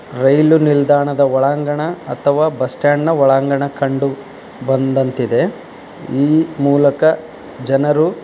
ರೈಲು ನಿಲ್ದಾಣದ ಒಳಾಂಗಣ ಅಥವಾ ಬಸ್ ಸ್ಟ್ಯಾಂಡ್ ನ ಒಳಾಂಗಣ ಕಂಡು ಬಂದಂತಿದೆ. ಈ ಮೂಲಕ ಜನರು --